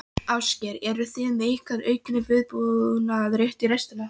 Ásgeir: Eruð þið með einhvern aukinn viðbúnað, rétt í restina?